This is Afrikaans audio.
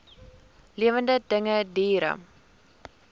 lewende dinge diere